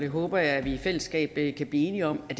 håber at vi i fællesskab kan blive enige om at